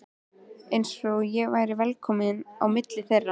Eins og ég væri velkominn á milli þeirra.